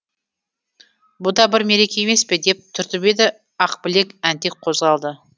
бұ да бір мереке емес пе деп түртіп еді ақбілек әнтек қозғалды